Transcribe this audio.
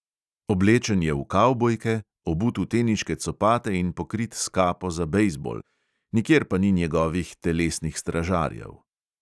Oblečen je v kavbojke, obut v teniške copate in pokrit s kapo za bejzbol, nikjer pa ni njegovih telesnih stražarjev.